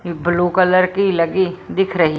blue colour की लगी दिख रही---